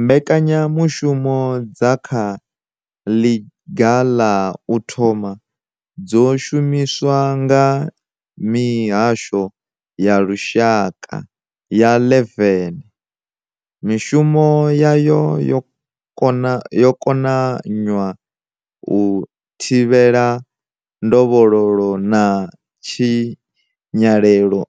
Mbekanyamushumo dza kha ḽiga ḽa u thoma dzo shumiswa nga mihasho ya lushaka ya 11. Mishumo yayo yo konanywa u thi vhela ndovhololo na tshi nyalelo